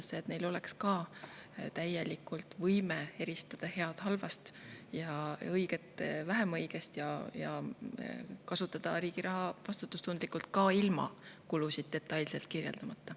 Ma usun, et neil on ka täielikult võime eristada head halvast ja õiget vähem õigest ning kasutada riigi raha vastutustundlikult ka ilma kulusid detailselt kirjeldamata.